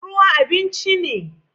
Ruwa abinci ne